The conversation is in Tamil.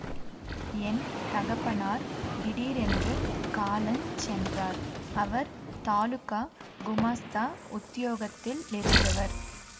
என் தகப்பனார் திடீரென்று காலஞ் சென்றார் அவர் தாலுகா குமாஸ்தா உத்தியோகத்திலிருந்தவர்